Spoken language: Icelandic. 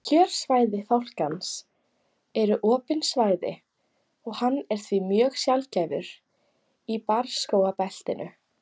Kjörsvæði fálkans eru opin svæði og hann er því mjög sjaldgæfur í barrskógabeltinu.